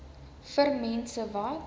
vir mense wat